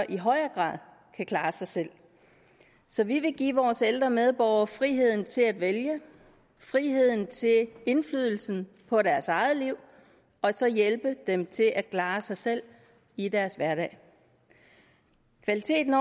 i højere grad kan klare sig selv så vi vil give vores ældre medborgere friheden til at vælge friheden til indflydelse på deres eget liv og hjælpe dem til at klare sig selv i deres hverdag kvaliteten